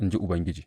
in ji Ubangiji.